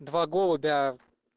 два голубя